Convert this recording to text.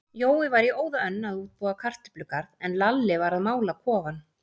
Jói var í óða önn að útbúa kartöflugarð, en Lalli var að mála kofann.